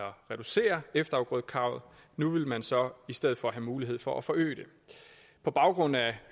reducere efterafgrødekravet nu vil man så i stedet for have mulighed for at forøge det på baggrund af